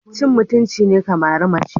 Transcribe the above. Cin mutunci ne ka mari mace.